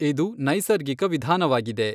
ಇದು ನೈಸರ್ಗಿಕ ವಿಧಾನವಾಗಿದೆ.